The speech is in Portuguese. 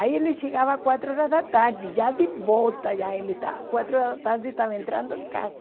Aí ele chegava às quatro horas da tarde, já de volta, já ele estava, quatro horas da tarde estava entrando em casa.